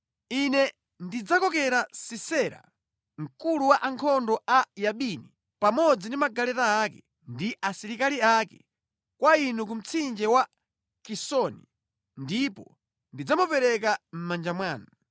Ine ndidzakokera Sisera mkulu wa ankhondo a Yabini pamodzi ndi magaleta ake ndi asilikali ake kwa inu ku mtsinje wa Kisoni ndipo ndidzamupereka mʼmanja mwanu.’ ”